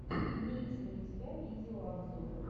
имеется ли у тебя видео обзор